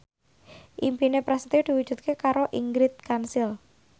impine Prasetyo diwujudke karo Ingrid Kansil